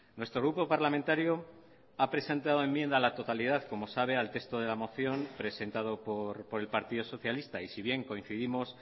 nuestro grupo parlamentario ha presentado enmienda a la totalidad como sabe al texto de la moción presentado por el partido socialista y si bien coincidimos